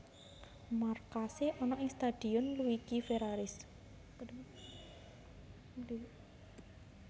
Markase ana ing Stadion Luigi Ferraris